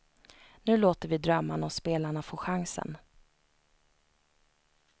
Nu låter vi drömmarna och spelarna få chansen.